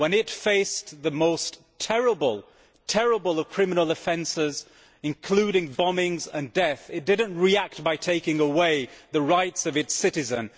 When it faced the most terrible of criminal offences, including bombings and death, it did not react by taking away the rights of its citizens